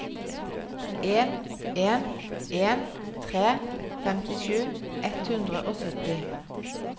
en en en tre femtisju ett hundre og sytti